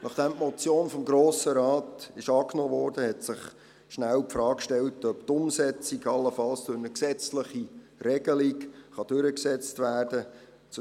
Nachdem die Motion vom Grossen Rat angenommen wurde, stellte sich bald die Frage, ob die Umsetzung allenfalls durch eine gesetzliche Regelung durchgesetzt werden kann.